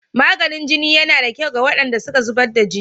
Maganin jini na da kyau ga waɗanda suka zubar da jini.